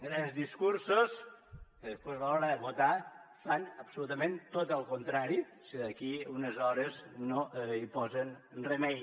grans discursos que després a l’hora de votar fan absolutament tot el contrari si d’aquí unes hores no hi posen remei